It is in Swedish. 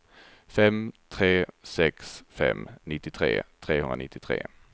fem tre sex fem nittiotre trehundranittiotre